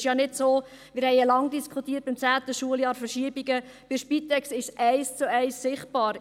Wir haben beim 10. Schuljahr ja lange über Verschiebungen diskutiert, aber bei der Spitex ist es eins zu eins sichtbar.